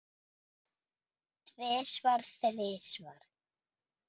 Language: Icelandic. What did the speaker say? Tvisvar, þrisvar?